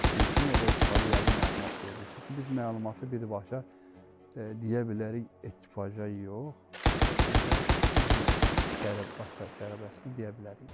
Bilsin o da yəqin məlumat verəcək, çünki biz məlumatı birbaşa deyə bilərik yox, ancaq bizim baş bələdçisinə deyə bilərik.